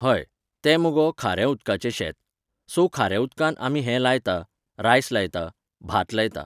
हय, तें मगो खाऱ्या उदकाचें शेत. सो, खाऱ्या उदकांत आमी हें लायता, रायस लायता, भात लायता